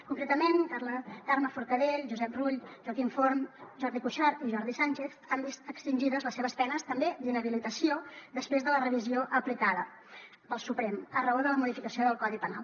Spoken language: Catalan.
concretament carme forcadell josep rull joaquim forn jordi cuixart i jordi sànchez han vist extingides les seves penes també d’inhabilitació després de la revisió aplicada pel suprem a raó de la modificació del codi penal